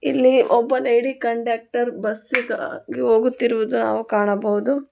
ಇಲ್ಲಿ ಒಬ್ಬ lady conductor ಬಸ್ಸಿಗಾಗಿ ಹೋಗುತ್ತಿರುವುದು ನಾವು ಕಾಣಬಹುದು.